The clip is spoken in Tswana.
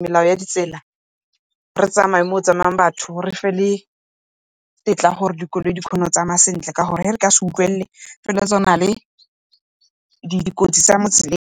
melao ya ditsela, re tsamaye mo go tsamayang batho refe le tetla ya gore dikoloi di kgone go tsamaya sentle ka gore ge re ka se utlwelele dikotsi tsa mo tseleng.